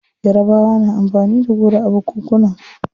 Yarabawa na amfani da goro a bukukunan su.